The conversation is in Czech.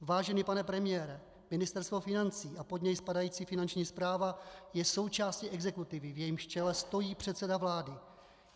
Vážený pane premiére, Ministerstvo financí a pod něj spadající finanční správa je součástí exekutivy, v jejímž čele stojí předseda vlády.